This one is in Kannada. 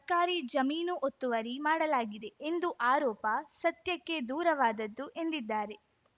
ಸರ್ಕಾರಿ ಜಮೀನು ಒತ್ತುವರಿ ಮಾಡಲಾಗಿದೆ ಎಂದು ಆರೋಪ ಸತ್ಯಕ್ಕೆ ದೂರವಾದದ್ದು ಎಂದಿದ್ದಾರೆ